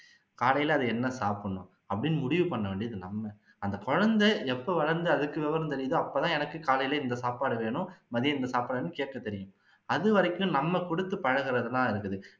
காலையில அது என்ன சாப்பிடணும் அப்படின்னு முடிவு பண்ண வேண்டியது நம்ம அந்த குழந்தை எப்போ வளந்து அதுக்கு விவரம் தெரியுதோ அப்போ தான் எனக்கு காலையில எனக்கு இந்த சாப்பாடு வேணும் மதியம் இந்த சாப்பாடு வேணும்னு கேக்க தெரியும் அது வரைக்கும் நம்ம குடுத்து பழகுறது தான் இருக்குது